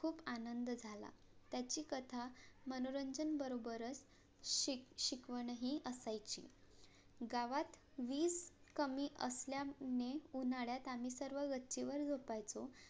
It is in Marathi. आनंद झाला त्याची कथा मनोरंजन बरोबरच शिक शिकवणही असायची गावात वीज कमी असल्याने उन्हाळ्यात आम्ही सर्व गच्ची वर झोपायचो